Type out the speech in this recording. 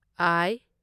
ꯑꯥꯢ